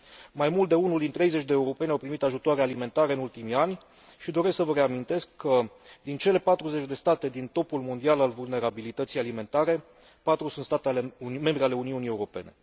Mai mult de unul din 30 de europeni au primit ajutoare alimentare în ultimii ani și doresc să vă reamintesc că, din cele 40 de state din topul mondial al vulnerabilității alimentare, patru sunt state membre ale Uniunii Europene.